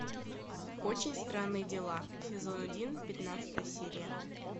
очень странные дела сезон один пятнадцатая серия